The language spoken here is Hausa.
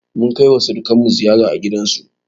Munkaiwa surikanmu ziyara a gidansu.